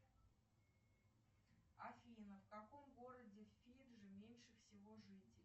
афина в каком городе фиджи меньше всего жителей